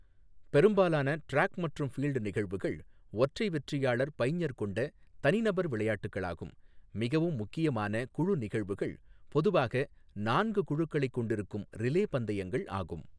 பெரும்பாலான டிராக் மற்றும் ஃபீல்ட் நிகழ்வுகள் ஒற்றை வெற்றியாளர் பைஞ்சர் கொண்ட தனிநபர் விளையாட்டுகளாகும், மிகவும் முக்கியமான குழு நிகழ்வுகள் பொதுவாக நான்கு குழுக்களைக் கொண்டிருக்கும் ரிலே பந்தயங்கள் ஆகும்.